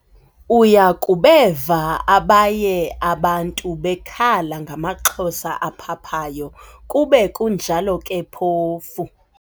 Uya kubeva abaye abantu bekhala ngamaxhosa aphaphayo, kube kunjalo ke phofu